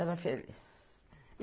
Era feliz.